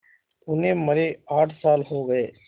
उन्हें मरे आठ साल हो गए